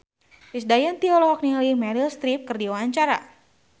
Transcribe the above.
Krisdayanti olohok ningali Meryl Streep keur diwawancara